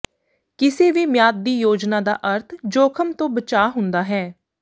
ਕਿਸੇ ਵੀ ਮਿਆਦ ਦੀ ਯੋਜਨਾ ਦਾ ਅਰਥ ਜੋਖਮ ਤੋਂ ਬਚਾਅ ਹੁੰਦਾ ਹੈ